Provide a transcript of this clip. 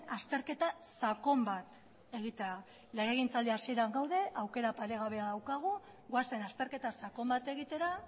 azterketa sakon bat egitea legegintzaldi hasieran gaude aukera paregabea daukagu goazen azterketa sakon bat egitera